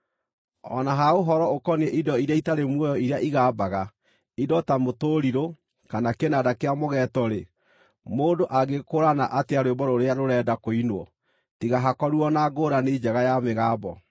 O na ha ũhoro ũkoniĩ indo iria itarĩ muoyo iria igambaga, indo ta mũtũrirũ kana kĩnanda kĩa mũgeeto-rĩ, mũndũ angĩgĩkũũrana atĩa rwĩmbo rũrĩa rũrenda kũinwo, tiga hakorirwo na ngũũrani njega ya mĩgambo?